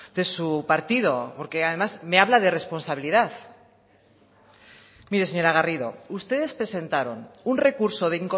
de su partido porque además me habla de responsabilidad mire señora garrido ustedes presentaron un recurso de